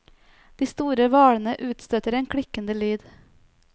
De store hvalene utstøter en klikkende lyd.